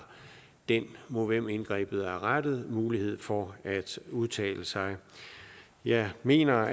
den mod hvem indgrebet er rettet mulighed for at udtale sig jeg mener